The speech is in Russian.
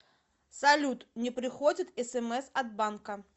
салют не приходят смс от банка